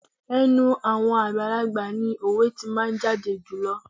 Ẹnu àwọn àgbàlagbà ni òwe tí máa jáde jùlọ.